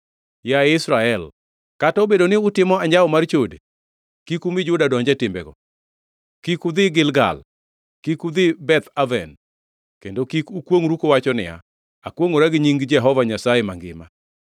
“Yaye Israel, kata obedo ni utimo anjawo mar chode, kik umi Juda donj e timbego. “Kik udhi Gilgal; kik udhi Beth Aven. Kendo kik ukwongʼru kuwacho niya, ‘Akwongʼora gi nying Jehova Nyasaye mangima!’